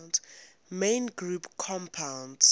main group compounds